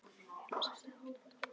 Heilir og sælir, þið horfnu og dánu.